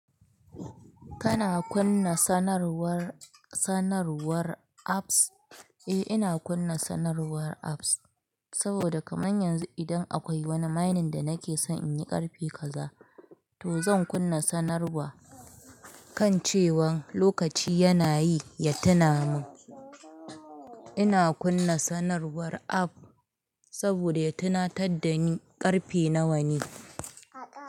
Kana kunna sanarwar, sanarwar apps? Eh, ina kunna sanarwar apps saboda kamar yanzu idan akwai wani mining da nake so in yi ƙarfe kaza, to zan kunna sanarwa kan cewan lokaci yana yi ya tuna min. Ina kunna sanarwar app saboda ya tunatar da ni ƙarfe nawa ne.